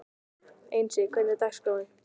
Einsi, hvernig er dagskráin?